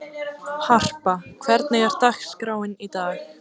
Harpa, hvernig er dagskráin í dag?